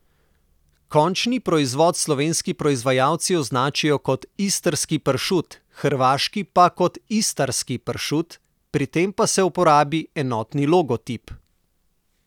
Končni proizvod slovenski proizvajalci označijo kot Istrski pršut, hrvaški pa kot Istarski pršut, pri tem pa se uporabi enotni logotip.